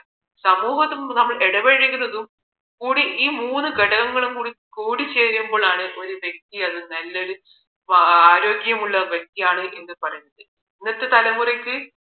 സമൂഹത്തില് നമ്മൾ ഇടപഴകുന്നതും കൂടി ഈ മൂന്ന് ഘടകങ്ങളും കൂടി ചേരുമ്പോഴാണ് ഒരു വ്യക്തി ഒരു നല്ലൊരു ആരോഗ്യമുള്ള വ്യക്തിയാണെന്ന് പറയുന്നത് ഇന്നത്തെ തലമുറയ്ക്ക്